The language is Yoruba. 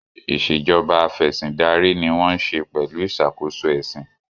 Ìṣèjọba Afẹ̀sìndarí ni wọ́n ń ṣe pelu iṣàkóso ẹ̀sìn